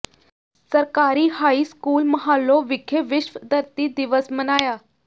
ਸਰਕਾਰੀ high school Mahalon ਵਿਖੇ ਵਿਸ਼ਵ ਧਰਤੀ ਦਿਵਸ ਮਨਾਇਆ